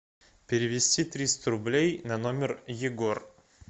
перевести триста рублей на номер егор